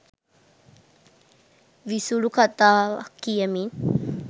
විසුලු කතාවක් කියමින්